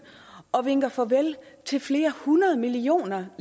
og vinker farvel til flere hundrede millioner